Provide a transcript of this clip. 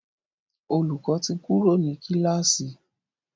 Olùkó tí Kúrò ní kilasi.